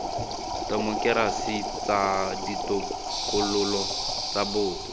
temokerasi tsa ditokololo tsa boto